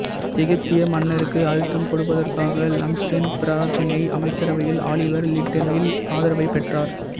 எகிப்திய மன்னருக்கு அழுத்தம் கொடுப்பதற்காக லம்ப்சன் பிரித்தானைய அமைச்சரவையில் ஆலிவர் லிட்டில்டனின் ஆதரவைப் பெற்றார்